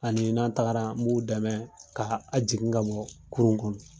Anii n'an tagaraa n b'u dɛmɛ kaa a jigin ka bɔɔ kurun kɔnɔ.